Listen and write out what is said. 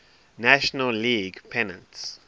national league pennants